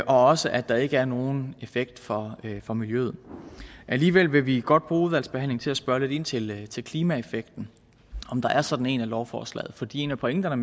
også at der ikke er nogen effekt for for miljøet alligevel vil vi godt bruge udvalgsbehandlingen til at spørge lidt ind til til klimaeffekten om der er sådan en i lovforslaget fordi en af pointerne